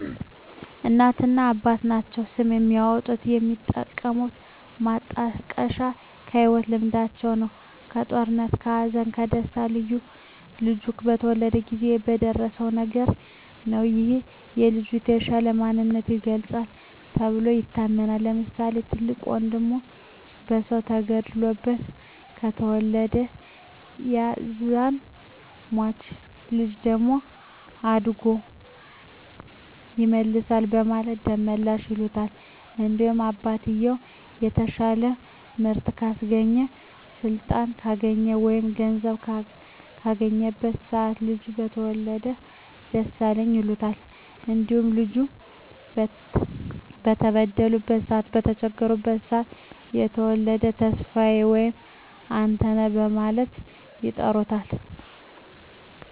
እናትና አባት ናቸዉ ስም የሚያወጡት። የሚጠቀሙት ማጣቀሻም ከህይወት ልምዳቸዉ ነዉ(ከጦርነት ከሀዘን ከደስታ ልጁ በተወለደበት ጊዜ በደረሰዉ ነገር) ነዉ ይህም የልጁን የተሻለ ማንነት ይገልፃል ተብሎም ይታመናል። ለምሳሌ፦ ትልቅ ወንድሙ በሰዉ ተገሎበት ከተወለደ ያዛን ሟች ልጅ ደም አድጎ ይመልሳል በማለት ደመላሽ ይሉታል። እንዲሁም አባትየዉ የተሻለ ምርት ካስገባ ስልጣን ካገኘ ወይም ገንዘብ ካገኘበት ሰአት ልጁ ከተወለደ ደሳለኝ ይሉታል። እንዲሁም ልጁ በተበደሉበት ሰአት በተቸገሩበት ሰአት ከተወለደ ተስፋየ ወይም አንተነህ በማለት ይጠሩታል።